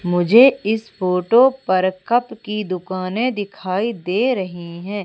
मुझे इस फोटो पर कप की दुकाने दिखाई दे रही हैं।